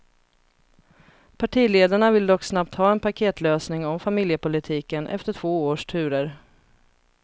Partiledarna vill dock snabbt ha en paketlösning om familjepolitiken, efter två års turer.